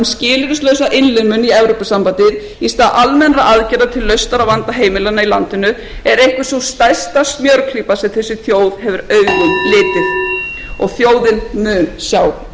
skilyrðislausa innlimun í evrópusambandið í stað almennra aðgerða til lausnir á vanda heimilanna í landinu er einhver sú stærsta smjörklípa sem þessi þjóð hefur augum litið og þjóðin mun sjá í gegnum hana